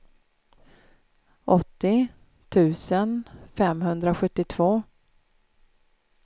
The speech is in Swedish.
åttio tusen femhundrasjuttiotvå